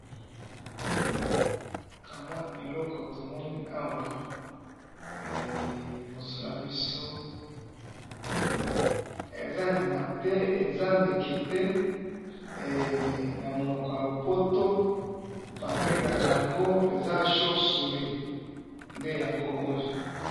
ka mwa eloko tomoni awa liboso na biso eza nyama te eza ndeke te namonoko yalopoto bambengakango eza chauve souris nde yango oyo